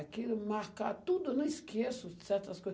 Aquilo, marcar tudo, eu não esqueço de certas coisas.